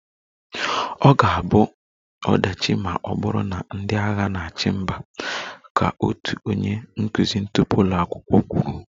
"Ọ ga-abụ ọdachi ma ọ bụrụ na ndị agha na-achị mba"" ka otu onye nkụzi tupu ụlọ akwụkwọ kwuru"